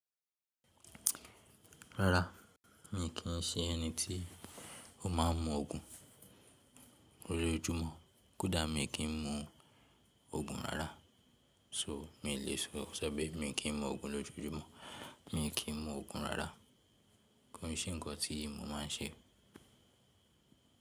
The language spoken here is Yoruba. Rárá, mi kì í ṣe ẹni tí ó máa mu òògùn lójoojúmọ́. Kódà mi kì í mu òògùn rárá so mi lè sọ pé mi kì í mu òògùn lójojúmọ́. Mi kì í mu òògùn rárá. Kò n se ǹkan tí mo máa n ṣe.